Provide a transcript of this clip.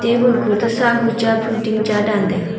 table kho to sahu cha phun ting cha dan taiga.